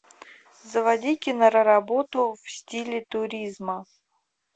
заводи киноработу в стиле туризма